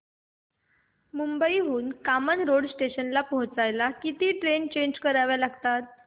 मुंबई हून कामन रोड स्टेशनला पोहचायला किती ट्रेन चेंज कराव्या लागतात